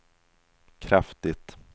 kraftigt